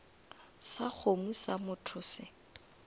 sa kgomo sa motho se